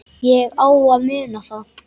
Ég á að muna það.